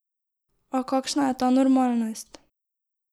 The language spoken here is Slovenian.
A kakšna je ta normalnost?